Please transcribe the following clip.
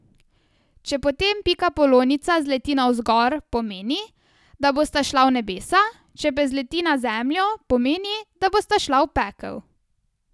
Če potem pikapolonica zleti navzgor, pomeni, da bosta šla v nebesa, če pa zleti na zemljo, pomeni, da bosta šla v pekel.